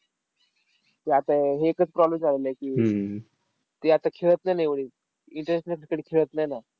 ते आता एकच राहिलं की, ते आता खेळत नाही ना एवढे, international cricket खेळत नाही ना.